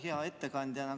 Hea ettekandja!